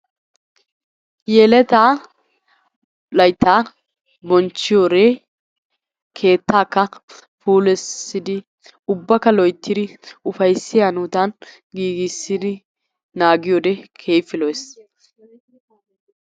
yeletta laytta bonchchiyoore keettaka puulayssidi loyttidi ubbaka, ufayssiyaa hanotan naagiyyoode keehippe lo''ees.